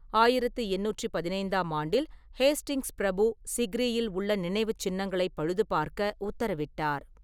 ஆயிரத்தி எண்ணூற்றிப் பதினைந்து ஆண்டில், ஹேஸ்டிங்ஸ் பிரபு சிக்ரியில் உள்ள நினைவுச் சின்னங்களைப் பழுதுபார்க்க உத்தரவிட்டார்.